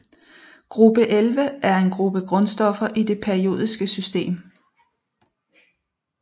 Gruppe 11 er en gruppe grundstoffer i det periodiske system